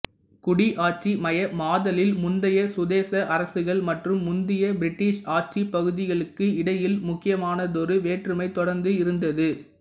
குடியாட்சிமயமாதலில் முந்தைய சுதேச அரசுகள் மற்றும் முந்தைய பிரிட்டிஷ் ஆட்சிப் பகுதிகளுக்கு இடையில் முக்கியமானதொரு வேற்றுமை தொடர்ந்து இருந்தது